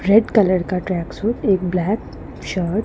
red colour का tracksuit एक black shirt --